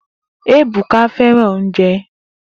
Ebuka fẹran ounjẹ